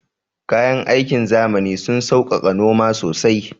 Kayan aikin zamani sun sauƙaƙa noma sosai